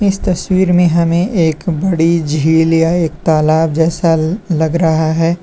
इस तस्वीर में हमें एक बड़ी झील या एक तलाब जैसा लग रहा है।